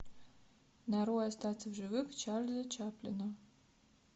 нарой остаться в живых чарли чаплина